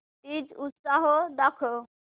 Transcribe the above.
तीज उत्सव दाखव